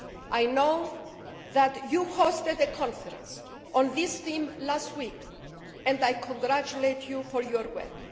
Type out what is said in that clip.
I know that you hosted a conference on this theme last week, and I congratulate you for your work.